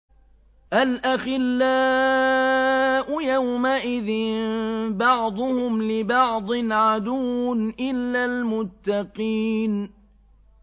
الْأَخِلَّاءُ يَوْمَئِذٍ بَعْضُهُمْ لِبَعْضٍ عَدُوٌّ إِلَّا الْمُتَّقِينَ